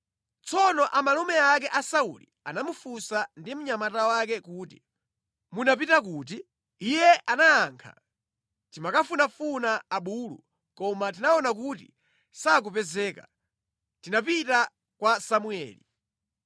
Tsono amalume ake a Sauli anamufunsa ndi mnyamata wake kuti, “Munapita kuti?” Iye anayakha, “Timakafunafuna abulu koma titaona kuti sakupezeka, tinapita kwa Samueli.”